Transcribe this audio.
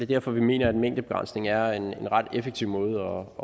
derfor vi mener at en mængdebegrænsning er en ret effektiv måde